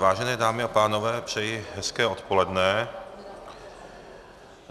Vážené dámy a pánové, přeji hezké odpoledne.